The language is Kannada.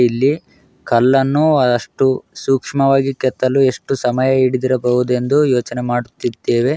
ಇಲ್ಲಿ ಕಲ್ಲನ್ನು ಆಅಷ್ಟು ಸೂಕ್ಷ್ಮವಾಗಿ ಕೆತ್ತಲು ಎಷ್ಟು ಸಮಯ ಇಡಿದಿರಬಹುದೆಂದು ಯೋಚನೆ ಮಾಡುತ್ತಿದ್ದೇವೆ.